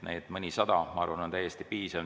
Mõnisada, ma arvan, oleks täiesti piisav.